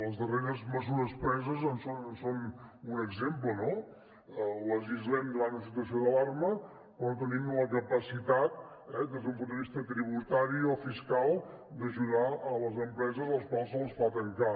les darreres mesures preses en són un exemple no legislem davant d’una situació d’alarma però no tenim la capacitat des d’un punt de vista tributari o fiscal d’ajudar les empreses a les quals se’ls fa tancar